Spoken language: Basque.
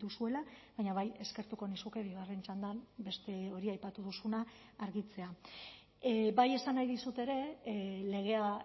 duzuela baina bai eskertuko nizuke bigarren txandan beste hori aipatu duzuna argitzea bai esan nahi dizut ere legea